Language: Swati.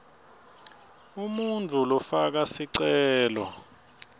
umuntfu lofaka sicelo